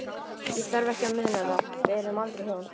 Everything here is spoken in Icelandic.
Ég þarf ekki að muna það- við urðum aldrei hjón.